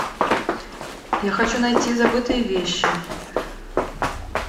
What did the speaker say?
я хочу найти забытые вещи